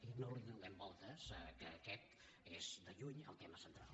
i no hi donem voltes que aquest és de lluny el tema central